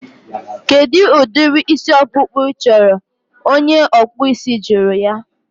Kedụ udiri isi ọkpụkpụ I chọrọ? Onye ọkpụ isi jụrụ ya